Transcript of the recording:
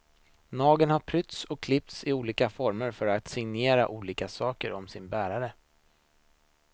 Nageln har prytts och klippts i olika former för att signalera olika saker om sin bärare.